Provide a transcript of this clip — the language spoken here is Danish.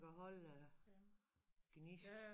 At holde gnist